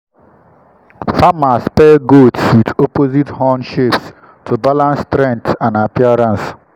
farmers pair goats with opposite horn shapes to balance strength and appearance.